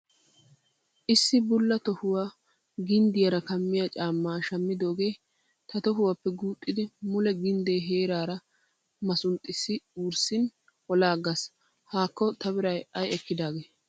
Issi bulla tohuwa ginddiyaara kammiyaa caammaa shammidooge ta tohuwaappe guuxxidi mule gindde heeraara masunxxissi wurssin olaaggaas. Haakko ta biray ay ekkidaagee.